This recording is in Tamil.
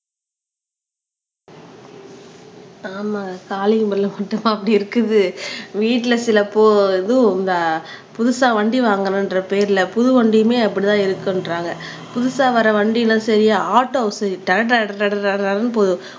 ஆம்மா கால்லிங் பெல் மட்டுமா அப்படி இருக்குது வீட்டுல சில இந்த புதுசா வண்டி வாங்கணும்ன்ற பேர்ல புது வண்டியுமே அப்படிதான் இருக்குன்றாங்க புதுசா வர்ற வண்டி எல்லாம் சரியா ஆடோஸ் ட்டர ட்டரனு ட்டரனு ட்டரனு போகுது